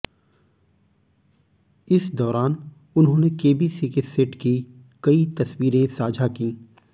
इस दौरान उन्होंने केबीसी के सेट की कई तस्वीरें साझा कीं